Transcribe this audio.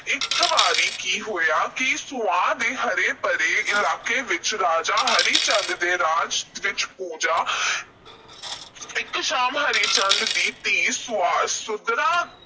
ਇਕ ਵਾਰੀ ਕਿ ਹੋਇਆ ਕਿ ਉਹ ਸੂਆਂ ਦੇ ਹਰੇ – ਭਰੇ ਇਲਾਕੇ ਵਿੱਚ ਰਾਜਾ ਹਰੀ ਚੰਦ ਦੇ ਰਾਜ ਵਿੱਚ ਪੁੱਜਾ। ਇਕ ਸ਼ਾਮ ਹਰੀ ਚੰਦ ਦੀ ਧੀ ਸੁਆਦ ਅਹ ਸਰੂਪਾਂ